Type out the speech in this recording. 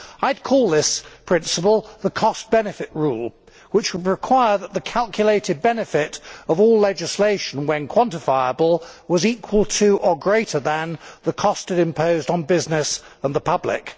I would call this principle the cost benefit rule' which would require that the calculated benefit of all legislation when quantifiable was equal to or greater than the cost it imposed on business and the public.